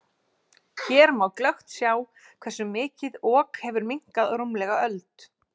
Hér má glöggt sjá hversu mikið Ok hefur minnkað á rúmlega öld.